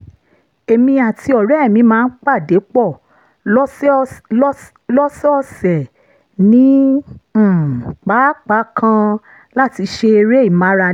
èmi àti ọ̀rẹ́ mi máa ń pàdé pọ̀ lọ́sọ̀ọ̀sẹ̀ ní um pápá kan láti ṣe eré ìmárale